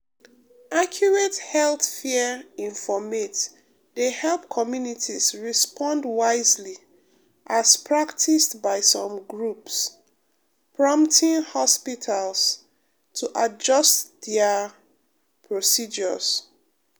accurate health fear informate de help communities respond wisely as practiced by some groups um prompting hospitals um to adjust dia um procedures.